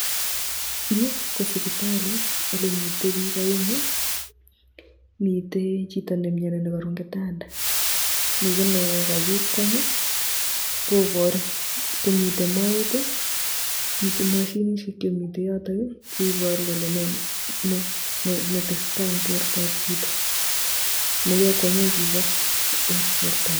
Yu ko sipitali ole mitei piik aengu mitei chito nemioni nekaru eng kitanda, mi ki ne kakikweny kobor komite moet. Mitei mashinisiek chemite yotok [ii] cheibaru kole nee netesetai eng bortob chito nekekwenye chicho eng borto nyi.